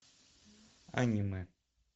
аниме